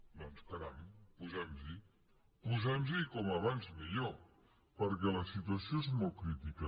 doncs caram posem nos hi posem nos hi com més aviat millor perquè la situació és molt crítica